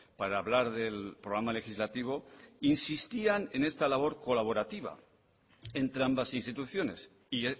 para hablar del programa legislativo insistían en esta labor colaborativa entre ambas instituciones y